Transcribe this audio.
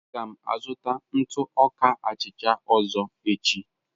Aga m azụta ntụ ọka achịcha ọzọ echi.